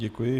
Děkuji.